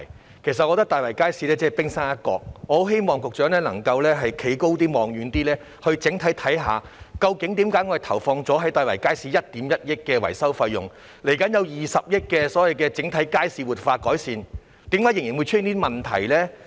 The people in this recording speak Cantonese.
但是，我覺得大圍街市只是冰山一角，我很希望局長能站得更高、看得更遠，整體研究究竟為何政府在大圍街市投放了1億 1,000 萬元的維修費用，而未來又會投放20億元進行整體街市活化改善計劃，但卻仍然出現這些問題？